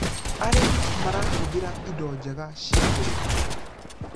arĩmi marahuthira indo njega cia ũrĩmi